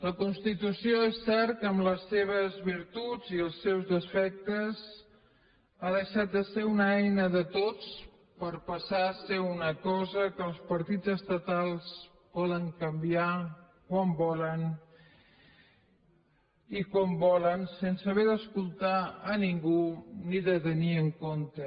la constitució és cert que amb les seves virtuts i els seus defectes ha deixat de ser una eina de tots per passar a ser una cosa que els partits estatals poden canviar quan volen i com volen sense haver d’escoltar a ningú ni de tenir los en compte